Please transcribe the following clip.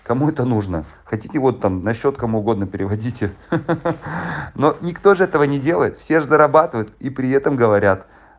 кому это нужно хотите вот там на счёт кому угодно переводите но никто же этого не делает все же зарабатывают и при этом говорят